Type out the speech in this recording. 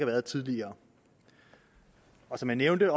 været tidligere som jeg nævnte